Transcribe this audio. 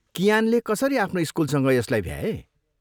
कियानले कसरी आफ्नो स्कुलसँग यसलाई भ्याए?